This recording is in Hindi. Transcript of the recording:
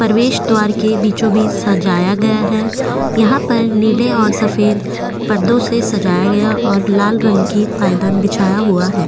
परवेशद्वार की बीचो बिच सजाया गया है यहा पर नीले और सफ़ेद पर्दो से सजाया गया और लाल रंग की पायदन बिछा हुआ है।